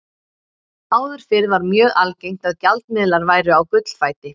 Áður fyrr var mjög algengt að gjaldmiðlar væru á gullfæti.